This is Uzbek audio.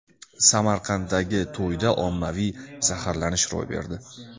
Samarqanddagi to‘yda ommaviy zaharlanish ro‘y berdi.